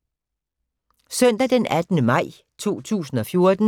Søndag d. 18. maj 2014